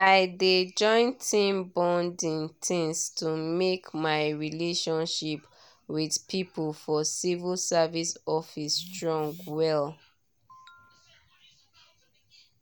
i dey join team bonding things to make my relationship with people for civil service office strong well.